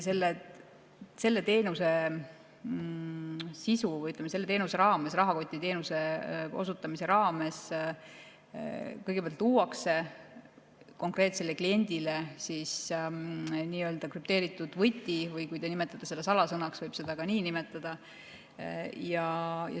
Selle rahakotiteenuse osutamise raames luuakse konkreetsele kliendile kõigepealt krüpteeritud võti, teie nimetate seda salasõnaks, seda võib ka nii nimetada.